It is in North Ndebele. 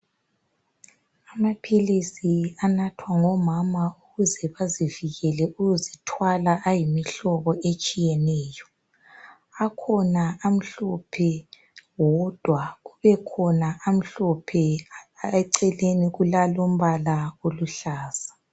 Amaphilisi anathwa ngabomam ukuze bazivikele ukuzithwala ayimihlobo etshiyeneyo akhona amhlophe wodwa kubekhona amhlophe eceleni kulalombala oluhlaza